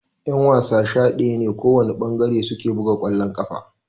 Ƴan-wasa sha daya ne kowana ɓangare suke buga kwallon ƙafa.